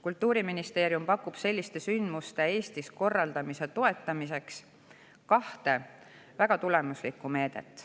Kultuuriministeerium pakub selliste sündmuste Eestis korraldamise toetamiseks kahte väga tulemuslikku meedet.